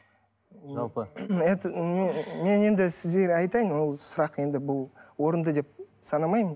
жалпы мен енді сіздерге айтайын ол сұрақ енді бұл орынды деп санамаймын